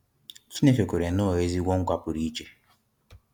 Chineke kwere Noah ezigbo nkwa pụrụ iche.